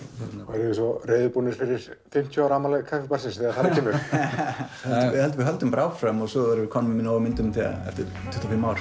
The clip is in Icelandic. eruð þið reiðubúnir fyrir fimmtíu ára afmæli Kaffibarsins þegar þar að kemur við höldum bara áfram og svo verðum við komnir með nóg af myndum eftir tuttugu og fimm ár